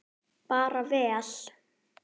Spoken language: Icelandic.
Bara vel.